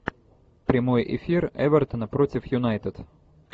прямой эфир эвертона против юнайтед